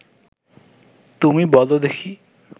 তুমি বল দেখি